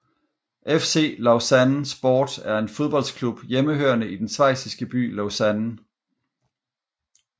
FC Lausanne Sport er en fodboldklub hjemmehørende i den schweisiske by Lausanne